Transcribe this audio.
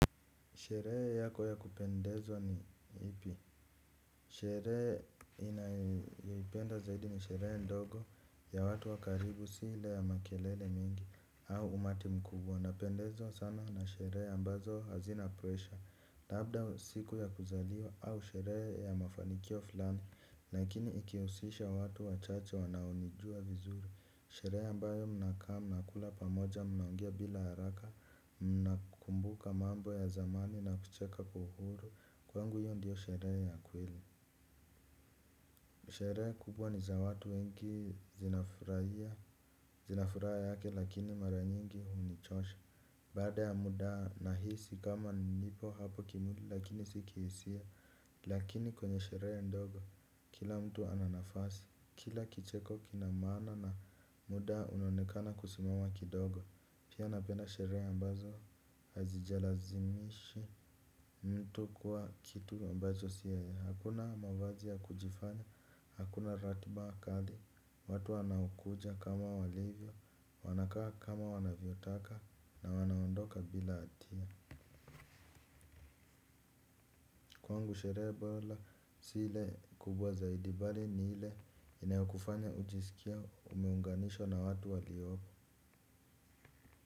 Sherehe yako ya kupendeza ni ipi. Sherehe naipenda zaidi ni sherehe ndogo ya watu wa karibu si ile ya makelele mingi au umati mkubwa. Napendezwa sana na sherehe ambazo hazina pressure. Labda siku ya kuzaliwa au sherehe ya mafanikio fulani. Lakini ikihusisha watu wachache wanaonijua vizuri. Sherehe ambayo mnakaa mnakula pamoja mnaongea bila haraka. Nakumbuka mambo ya zamani na kucheka kwa uhuru. Kwangu hiyo ndiyo sherehe ya kweli. Sherehe kubwa ni za watu wengi zinafurahia zina furaha yake lakini mara nyingi hunichosha. Baada ya muda nahisi kama nipo hapo kimwili lakini si kihisia. Lakini kwenye sherehe ndogo kila mtu ana nafasi. Kila kicheko kina maana na muda unaonekana kusimama kidogo. Pia napenda sherehe ambazo hazijalazimishi mtu kuwa kitu ambacho si yeye. Hakuna mavazi ya kujifanya, hakuna ratiba kali, watu wanakuja kama walivyo, wanakaa kama wanavyotaka na wanaondoka bila hatia kwangu sherehe bora si ile kubwa zaidi bali ni ile inayokufanya ujisikie umeunganishwa na watu waliopo.